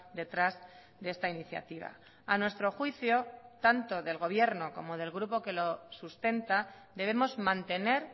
detrás de esta iniciativa a nuestro juicio tanto del gobierno como del grupo que lo sustenta debemos mantener